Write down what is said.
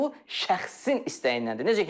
Bu şəxsin istəyinədir.